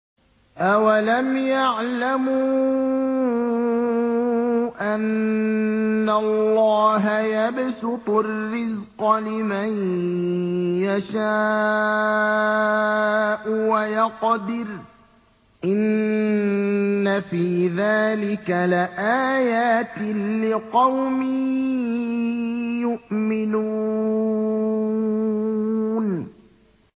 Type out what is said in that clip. أَوَلَمْ يَعْلَمُوا أَنَّ اللَّهَ يَبْسُطُ الرِّزْقَ لِمَن يَشَاءُ وَيَقْدِرُ ۚ إِنَّ فِي ذَٰلِكَ لَآيَاتٍ لِّقَوْمٍ يُؤْمِنُونَ